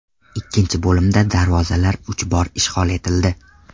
Ikkinchi bo‘limda darvozalar uch bor ishg‘ol etildi.